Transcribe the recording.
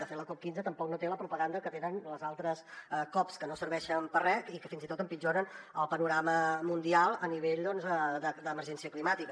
de fet la cop15 tampoc no té la propaganda que tenen les altres cop que no serveixen per a res i que fins i tot empitjoren el panorama mundial a nivell d’emergència climàtica